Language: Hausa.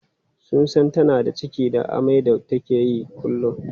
Sun san tana da ciki da amai da take yi kullum.